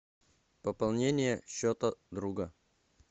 пополнение счета друга